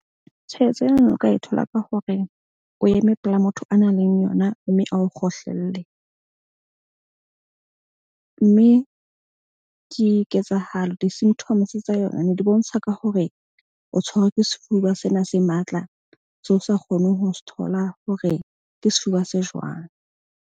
Tshwaetso ena na o ka e thola ka hore o eme pela motho a nang le yona mme ao kgohlelle. Mme ke ketsahalo di-symptoms tsa yona ne di bontsha ka hore o tshwerwe ke sefuba sena se matla. Seo o sa kgoneng ho se thola hore ke sefuba se jwang.